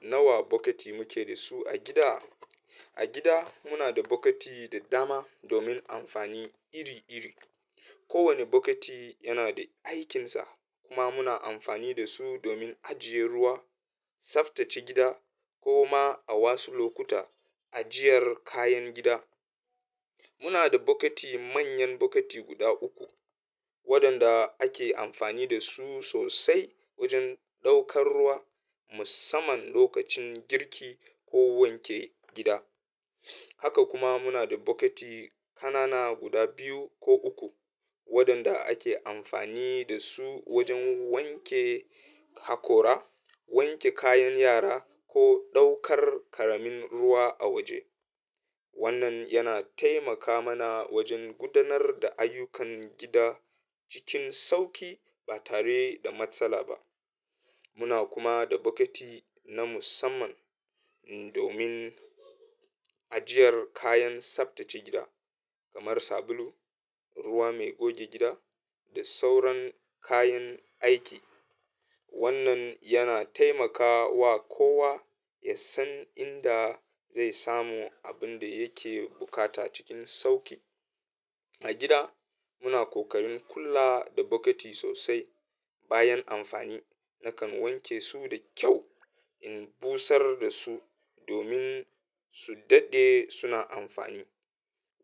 Nawa bokiti muke da su a gida? A gida muna da bokiti da dama domin amfani iri-iri. Ko wani bokiti yana da aikinsa kuma muna amfani da su domin ajiye ruwa, tsaftace gida ko ma a wasu lokuta ajiyar kayan gida. Muna da bokiti manyan bokiti guda uku waɗanda ake amfani da su sosai wajen ɗaukar ruwa musamman lokacin girki ko wanke gida. Haka kuma muna da bokiti ƙanana guda biyu ko uku waɗanda ake amfani da su wajen wanke hakora, wanke kayan yara ko ɗaukar ƙaramin ruwa a waje. Wannan yana taimaka mana wajen gudanar da ayyukan gida cikin sauƙi ba tare da matsala ba. Muna kuma da bokiti na musamman domin ajiyar kayan tsaftace gida kamar sabulu, ruwa mai goge gida da sauran kayan aiki. Wannan yana taimakawa kowa ya san inda zai samu abin da yake bukata cikin sauƙi. A gida muna kokarin kula da bokiti sosai. Bayan amfani nakan wanke su da kyau in busar da su domin su dade suna amfani.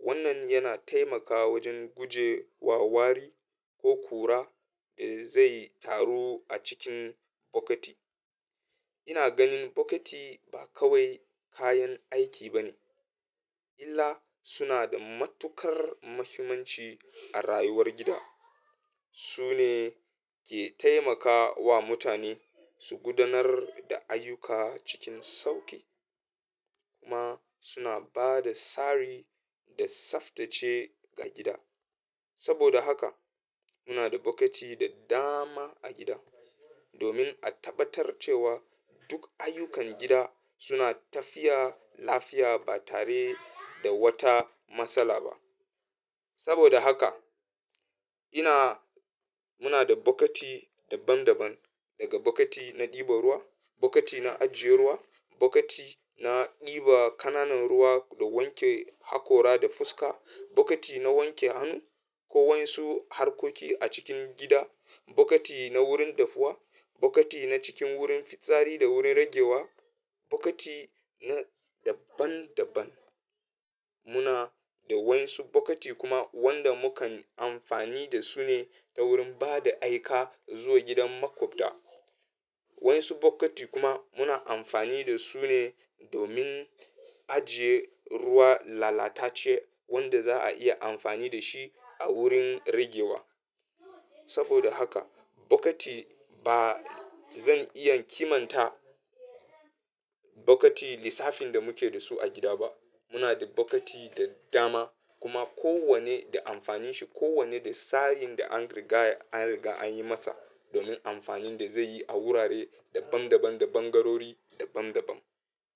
Wannan yana taimakawa wajen guje wa wari ko ƙura da zai taru a cikin bokiti. Ina ganin bokiti ba kawai kayan aiki ba ne illa suna da matuƙar muhimmanci a rayuwar gida. Su ne ke taimakawa mutane su gudanar da ayyuka cikin sauƙi kuma suna ba da tsari da tsaftace ga gida. Saboda haka muna da bokiti da dama a gida domin a tabbatar cewa duk ayyukan gida suna tafiya lafiya ba tare da wata matsala ba. Saboda haka ina, muna da bokiti daban daban daga bokiti na ɗiba ruwa, bokiti na ajjiye ruwa, bokiti na ɗiba ƙananan ruwa don wanke hakora da fuska, bokiti na wanke hannu ko wasu harkoki a cikin gida, bokiti na wurin dafuwa, bokiti na cikin wurin fitsari da wurin ragewa, bokiti na daban daban. Muna da wasu bokiti kuma wanda mukan amfani da su ne ta wurin ba da aika zuwa gidan maƙwabta. Wasu bokiti kuma muna amfani da su ne domin ajiye ruwa lalatace wanda za a iya amfani da shi a wurin ragewa. Saboda haka bokiti ba zan iya kimanta bokiti lissafin da muke da su a gida ba. Muna da bokiti da dama kuma kowanne da amfanin shi. Kowanne da tsarin da an riga, an riga an yi masa domin amfanin da zai yi a wurare daban daban da ɓangarori daban daban.